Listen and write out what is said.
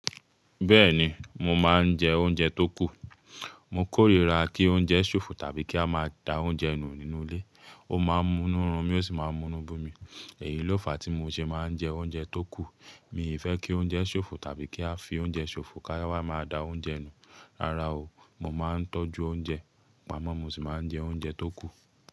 Bẹ́ẹ̀ni, mo máa ń jẹ oúnjẹ tó kù. Mo kórìíra kí oúnjẹ ṣòfò tàbí kí a máa da oúnjẹ nu nínú ilé. Ó máa ń mú'nu run mí, ó sì máa ń mú'nu bi mi. Èyí ló fà á tí mo ṣe máa ń jẹ oúnjẹ tó kù. Mi ò fẹ́ kí oúnjẹ ṣòfò tàbí kí a fi oúnjẹ ṣòfò ká wa máa da oúnjẹ nu. Rárá o, mo máa ń tọ́jú oúnjẹ, pàmọ́ mo sì máa ń jẹ oúnjẹ tó kù.